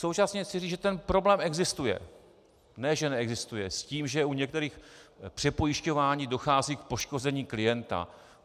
Současně chci říci, že ten problém existuje, ne že neexistuje, s tím, že u některých přepojišťování dochází k poškození klienta.